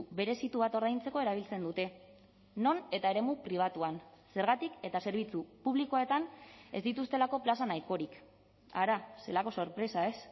berezitu bat ordaintzeko erabiltzen dute non eta eremu pribatuan zergatik eta zerbitzu publikoetan ez dituztelako plaza nahikorik hara zelako sorpresa ez